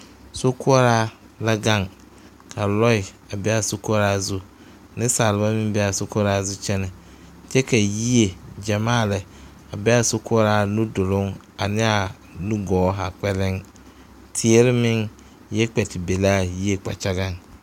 Sokoɔraa la gaŋ ka lɔɛ a be a sokoɔraa zu neŋsalba meŋ bee a sokoɔraa zu kyɛnɛ kyɛ ka yie gyamaa lɛ a be aa sokoɔraa nuduluŋ aneɛaa nugɔɔ o haa kpɛlɛŋ teere meŋ yɛ kpɛ ti ba laa yie kpakyagaŋ.